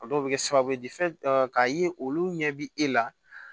A dɔw bɛ kɛ sababu ye k'a ye olu ɲɛ bɛ e la